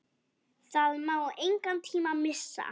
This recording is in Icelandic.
Það má engan tíma missa!